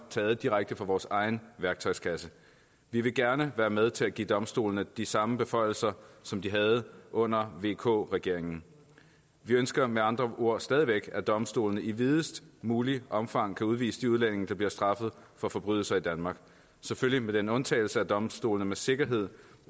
taget direkte fra vores egen værktøjskasse vi vil gerne være med til at give domstolene de samme beføjelser som de havde under vk regeringen vi ønsker med andre ord stadig væk at domstolene i videst muligt omfang kan udvise de udlændinge der bliver straffet for forbrydelser i danmark selvfølgelig med den undtagelse at domstolene med sikkerhed